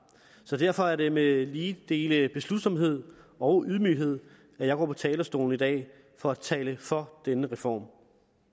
derfor er det med lige dele beslutsomhed og ydmyghed jeg går på talerstolen i dag for at tale for denne reform